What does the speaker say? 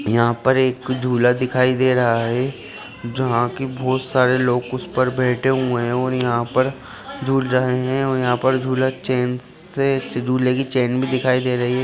यहां पर एक झूला दिखाई दे रहा है जहां की बहोत सारे लोग उस पर बेठे हुए है और यहां पर झूल रहे हैं और यहां पर झूला चेन से और झूले की चेन भी दिखाई दे रही है।